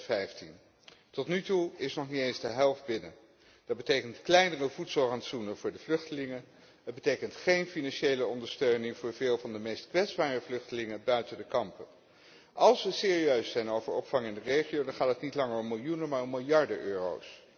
2015. Tot nu toe is nog niet eens de helft binnen. Dat betekent kleinere voedselrantsoenen voor de vluchtelingen, dat betekent geen financiële ondersteuning voor veel van de meest kwetsbare vluchtelingen buiten de kampen. Als we serieus zijn over opvang in de regio, dan gaat het niet langer om miljoenen maar om miljarden euro's.